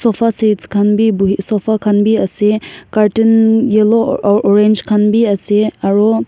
sofa seat khan bhi bohe sofa seat khan bhi ase cartoon yellow orange khan bhi ase aru--